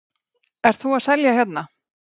Símon: Ert þú að selja hérna?